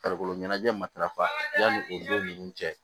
Farikolo ɲɛnajɛ matarafa yanni o don ninnu cɛ